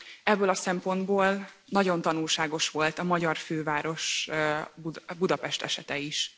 Ebből a szempontból nagyon tanulságos volt a magyar főváros, Budapest esete is.